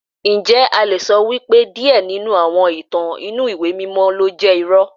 Ǹjẹ́ a le sọ wípé díẹ̀ nínú àwọn ìtàn inú ìwé mímọ́ ló jẹ́ irọ́?